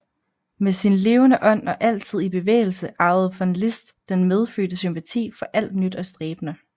Med sin levende ånd og altid i bevægelse ejede von Liszt den medfødte sympati for alt nyt og stræbende